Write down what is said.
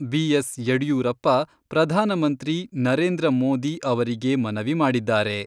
B S Yediyurappa ಪ್ರಧಾನಮಂತ್ರಿ ನರೇಂದ್ರ ಮೋದಿ ಅವರಿಗೆ ಮನವಿ ಮಾಡಿದ್ದಾರೆ.